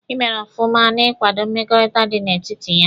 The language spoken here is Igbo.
Ị mere ọfụma n'ikwado mmekọrịta dị n'etiti ya.